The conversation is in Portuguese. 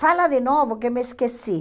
Fala de novo que me esqueci.